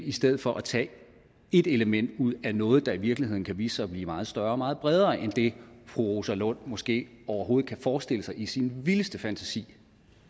i stedet for at tage et element ud af noget der i virkeligheden kan vise sig at blive meget større og meget bredere end det fru rosa lund måske overhovedet kan forestille sig i sin vildeste fantasi